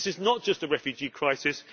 This is not just a refugee crisis.